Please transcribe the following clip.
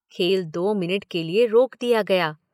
खेल दो मिनट के लिए रोक दिया गया।